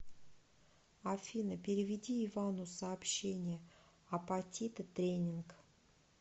афина переведи ивану сообщение апатиты тренинг